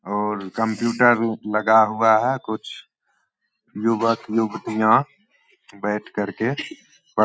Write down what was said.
और कम्प्यूटर लगा हुआ है कुछ युवक युवतियाँ बैठ करके प--